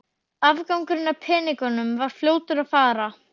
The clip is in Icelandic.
Afgangurinn af peningunum var fljótur að fara.